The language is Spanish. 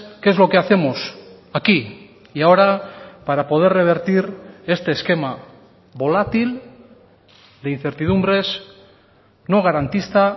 qué es lo que hacemos aquí y ahora para poder revertir este esquema volátil de incertidumbres no garantista